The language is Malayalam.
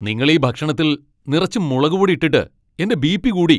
നിങ്ങൾ ഈ ഭക്ഷണത്തിൽ നിറച്ചും മുളകുപൊടി ഇട്ടിട്ട് എന്റെ ബി.പി കൂടി.